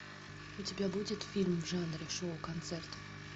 у тебя будет фильм в жанре шоу концерт